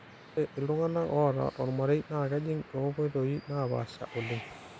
ore iltunganak oota tolmarei naa kejing' too nkoitoi naapasha oleng